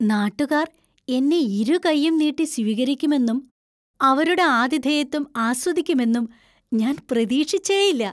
നാട്ടുകാർ എന്നെ ഇരുകൈയ്യും നീട്ടി സ്വീകരിക്കുമെന്നും അവരുടെ ആതിഥേയത്വം ആസ്വദിക്കുമെന്നും ഞാൻ പ്രതീക്ഷിച്ചേയില്ല.